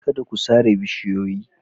Kada ku sare bishiyoyi.